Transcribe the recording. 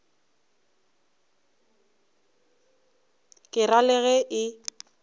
ke ra le ge e